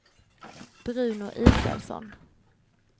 Bruno Israelsson